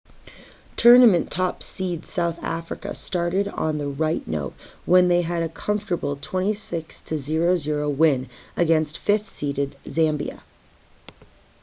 tournament top seeds south africa started on the right note when they had a comfortable 26 - 00 win against 5th seeded zambia